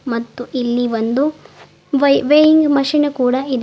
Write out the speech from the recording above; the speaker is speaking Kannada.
ಮತ್ತು ಇಲ್ಲಿ ಒಂದು ವೈ ವೇಯಿಂಗ್ ಮಷೀನ್ ಕೂಡ ಇದೆ.